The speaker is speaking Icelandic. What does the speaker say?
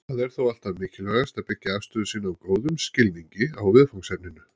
Það er þó alltaf mikilvægt að byggja afstöðu sína á góðum skilningi á viðfangsefninu.